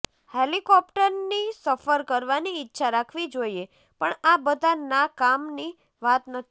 helicopter ની સફર કરવાની ઈચ્છા રાખવી જોઈએ પણ આ બધા ના કામ ની વાત નથી